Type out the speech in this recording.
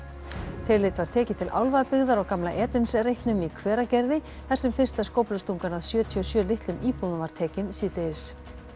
tillit var tekið til álfabyggðar á gamla reitnum í Hveragerði þar sem fyrsta skóflustungan að sjötíu og sjö litlum íbúðum var tekin síðdegis